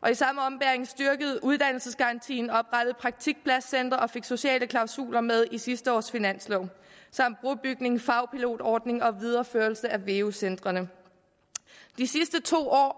og i samme ombæring styrkede vi uddannelsesgarantien oprettede praktikpladscentre og fik sociale klausuler med i sidste års finanslov samt brobygning fagpilotordning og videreførelse af veu centrene de sidste to år